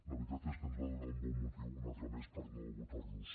la veritat és que ens va donar un bon motiu un altre més per no votar los